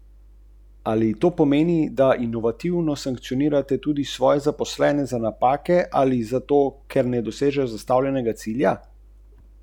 V podjetju Lumar so že konec devetdesetih sprejeli odločitev, da želijo graditi najboljše hiše.